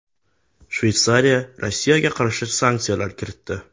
Shveysariya Rossiyaga qarshi sanksiyalar kiritdi.